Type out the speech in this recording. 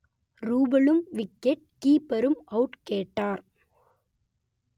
ரூபலும் wicket கீப்பரும் out கேட்டார்